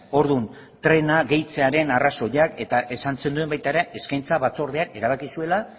orduan trena gehitzearen arrazoiak eta esan zenuen baita ere eskaintza batzordeak erabaki zuela